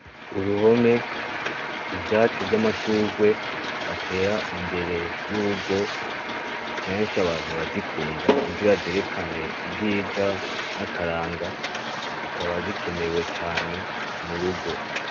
Uruhome ,Ivyatsi vy'amashurwe batera imbere y'urugo kenshi abantu barazikunda kugira zerekane ubwiza n'akaranga zikaba zikenewe cane murugo.